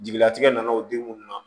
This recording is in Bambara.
Jigilatigɛ nana o den munnu na